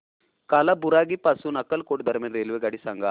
कालाबुरागी पासून अक्कलकोट दरम्यान रेल्वेगाडी सांगा